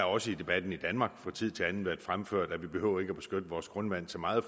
også i debatten i danmark fra tid til anden været fremført at vi ikke behøver at beskytte vores grundvand så meget